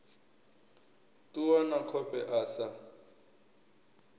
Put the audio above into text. ṱuwa na khofhe a sa